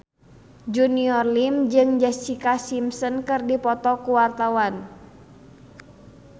Junior Liem jeung Jessica Simpson keur dipoto ku wartawan